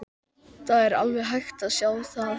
Það er alveg hægt að sjá það.